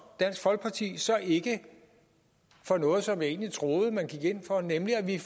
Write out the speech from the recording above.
dansk folkeparti så ikke for noget som jeg egentlig troede man gik ind for nemlig at vi